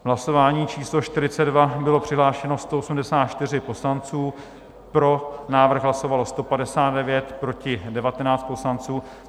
V hlasování číslo 42 bylo přihlášeno 184 poslanců, pro návrh hlasovalo 159, proti 19 poslanců.